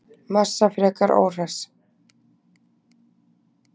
Massa frekar óhress